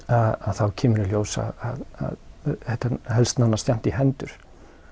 þá kemur í ljós að þetta helst nánast jafnt í hendur